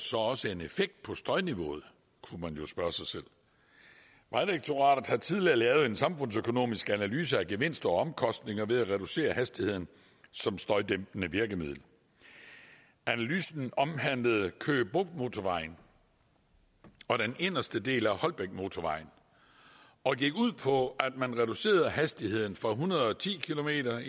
så også en effekt på støjniveauet kunne man jo spørge sig selv vejdirektoratet har tidligere lavet en samfundsøkonomisk analyse af gevinster og omkostninger ved at reducere hastigheden som støjdæmpende virkemiddel analysen omhandlede køge bugt motorvejen og den inderste del af holbækmotorvejen og gik ud på at man reducerede hastigheden fra en hundrede og ti kilometer